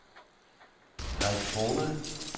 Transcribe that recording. Karlskrona